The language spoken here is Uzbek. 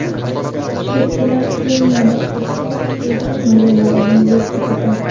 Chigirtkalar Keniyada ekin maydonlarini yeb bitirdi .